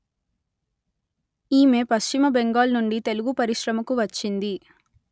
ఈమె పశ్చిమ బెంగాల్ నుండి తెలుగు పరిశ్రమకు వచ్చింది